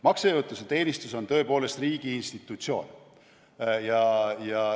Maksejõuetuse teenistus on tõepoolest riigi institutsioon.